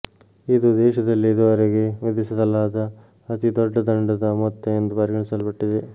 ಇದು ದೇಶದಲ್ಲೇ ಈವರೆಗೆ ವಿಧಿಸಲಾದ ಅತೀ ದೊಡ್ಡ ದಂಡದ ಮೊತ್ತ ಎಂದು ಪರಿಗಣಿಸಲ್ಪಟ್ಟಿದೆ